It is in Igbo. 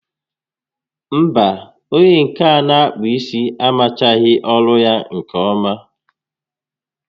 Mba, onyé nke a n'akpụ isi amaghị ọrụ nke ọma